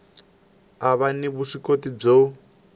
a va ni vuswikoti byo